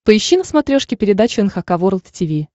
поищи на смотрешке передачу эн эйч кей волд ти ви